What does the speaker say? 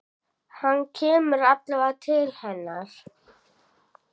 Hann kemur alveg til hennar.